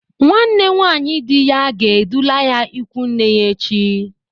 Nwanne nwaanyị dị ya ga-edula ya ịkwụ nne ya echi.